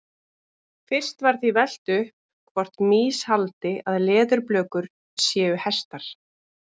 Fyrst var því velt upp hvort mýs haldi að leðurblökur séu hestar.